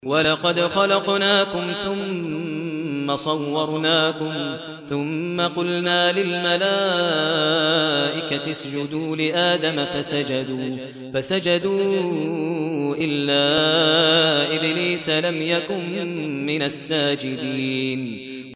وَلَقَدْ خَلَقْنَاكُمْ ثُمَّ صَوَّرْنَاكُمْ ثُمَّ قُلْنَا لِلْمَلَائِكَةِ اسْجُدُوا لِآدَمَ فَسَجَدُوا إِلَّا إِبْلِيسَ لَمْ يَكُن مِّنَ السَّاجِدِينَ